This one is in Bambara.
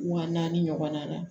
Wa naani ɲɔgɔn na